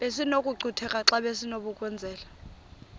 besinokucutheka xa besinokubenzela